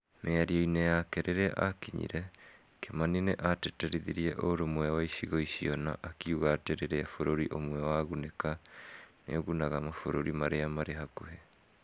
Mĩario-inĩ yake rĩrĩa akinyire , kimani nĩ aatĩtĩrithirie ũrũmwe wa icigo icio na akiuga atĩ rĩrĩa bũrũri ũmwe wagunĩka, nĩ ũgunaga mabũrũri marĩa marĩ hakuhĩ.